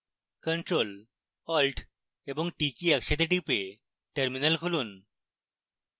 ctrl alt এবং t key একসাথে টিপে terminal খুলুন